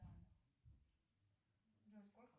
джой сколько